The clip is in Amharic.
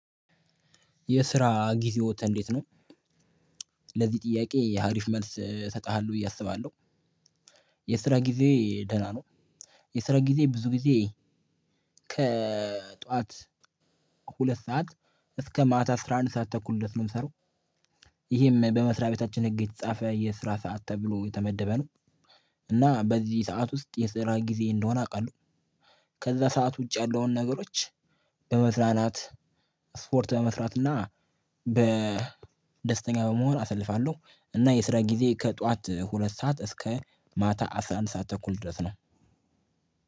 የስራ ጊዜዎት እንዴት ነው? ለዚህ ጥያቄ አሪፍ መልስ ስጥሃለ ብዬ መሰለኝ። የስራ ጊዜ ደህና ነው። የስራ ጊዜ ብዙ ጊዜ። ከጠዋት ሁለት ሰዓት እስከ ማታ አስራ አንድ ተኩል ድረስ ነው የምሰራው። ይሄም በመስሪያ ቤታችን ህግ የተጻፈ የስራ ሰዓት ተብሎ የተመደበ ነው። እና በዚህ ሰዓት ውስጥ የስራ ጊዜ እንደሆነ አውቃለሁ። ከዛ ሰዓት ውጪ ያለውን ነገሮች። በመዝናናት ስፖርት በመስራት እና ደስተኛ በመሆን አሳልፋለሁ። እና የስራ ጊዜ ከጠዋት ሁለት ሰዓት እስከ ማታ አስራ አንድ ሰዓት ተኩል ድረስ ነው።